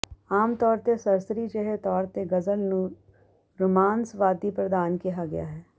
ਆਮ ਤੌਰ ਤੇ ਸਰਸਰੀ ਜਿਹੇ ਤੌਰ ਤੇ ਗ਼ਜ਼ਲ ਨੂੰ ਰੁਮਾਂਸਵਾਦੀ ਪ੍ਰਧਾਨ ਕਿਹਾ ਜਾਂਦਾ ਹੈ